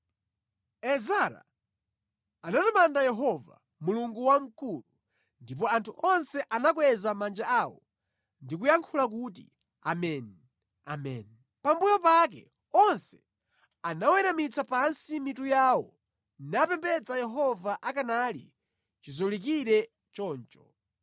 Ezara anatamanda Yehova, Mulungu wamkulu, ndipo anthu onse anakweza manja awo ndi kuyankha kuti, “Ameni, ameni.” Pambuyo pake onse anaweramitsa pansi mitu yawo napembedza Yehova akanali chizolikire choncho.